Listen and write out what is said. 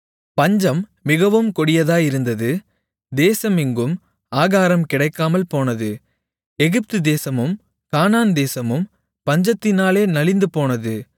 பஞ்சம் மிகவும் கொடிதாயிருந்தது தேசமெங்கும் ஆகாரம் கிடைக்காமல்போனது எகிப்துதேசமும் கானான்தேசமும் பஞ்சத்தினாலே நலிந்துபோனது